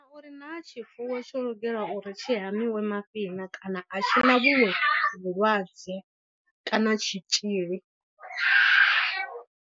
Uri naa tshifuwo tsho lugela uri tshi hamiwe mafhi na kana a tshi na vhuṅwe vhulwadze kana tshitzhili.